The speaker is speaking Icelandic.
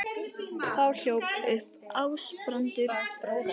Þá hljóp upp Ásbrandur bróðir hans.